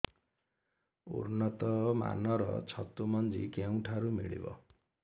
ଉନ୍ନତ ମାନର ଛତୁ ମଞ୍ଜି କେଉଁ ଠାରୁ ମିଳିବ